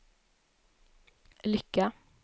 lycka